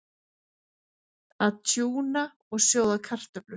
Að tjúna og sjóða kartöflur